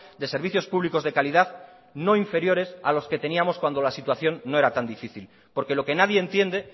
de servicios públicos de calidad no inferiores a los que teníamos cuando la situación no era tan difícil porque lo que nadie entiende